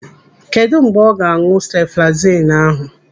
Kedụ mgbe ọ ga-an̄ụ sefalezinu ahụ?